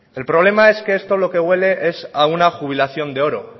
el problema es que esto a lo que huele es a una jubilación de oro